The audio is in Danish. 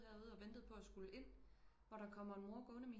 Her ude og ventede på at skullle ind hvor der kommer en mor gående